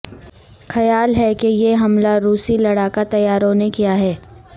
خیال ہے کہ یہ حملہ روسی لڑاکا طیاروں نے کیا ہے